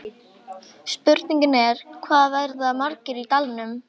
Spurningin er, hvað verða margir í dalnum?